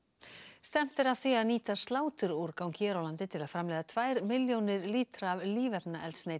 stefnt er að því að nýta sláturúrgang hér á landi til að framleiða tvær milljónir lítra af